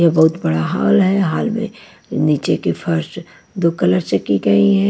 ये बहुत बड़ा हाल है हॉल में नीचे के फर्स्ट दो कलर से की गई है।